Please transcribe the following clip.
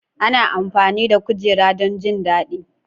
Ana amfani da kujera don jin daɗi.